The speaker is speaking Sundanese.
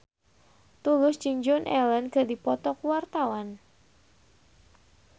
Tulus jeung Joan Allen keur dipoto ku wartawan